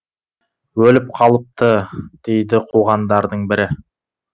өліп қалыпты дейді қуғандардың бірі